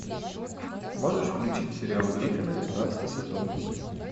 можешь включить сериал гриффины пятнадцатый сезон